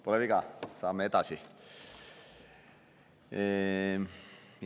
Pole viga, saame edasi minna.